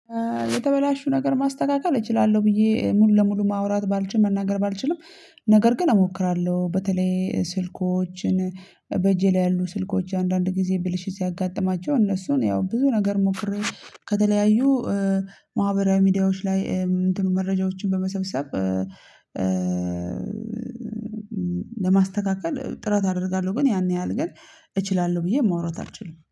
የተበላሹ ነገር ማስተካከል እችላለሁ ብዬ ሙሉ ለሙሉ ማውራት ባልችል መናገር ባልችልም ነገር ግን እሞክራለሁ። በተለይ ስልኮችን በጄ ላይ ያሉ ስልኮች አንዳንድ ጊዜ ብልሽት ሲያጋጥማቸው እነሱን ያው ብዙ ነገር ሞክሬ ከተለያዩ ማህበራዊ ሚዲያዎች ላይ መረጃዎችን በመሰብሰብ ለማስተካከል ጥረት አደርጋለሁ። ግን ያን ያህል ግን እችላለሁ ብዬ ማውራት አልችልም